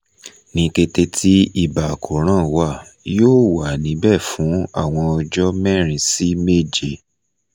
ni kete ti iba akoran wa yoo wa nibẹ fun awọn ọjọ merin si meje